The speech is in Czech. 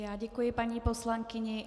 Já děkuji paní poslankyni.